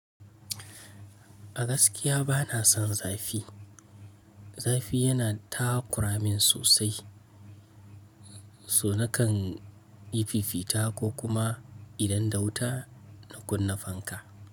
A gaskiya bana son zafi. Zafi yana takura min sosai, so nakan yi fifita ko kuma idan da wuta na kunna fanka.